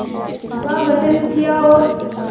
का गठन किया और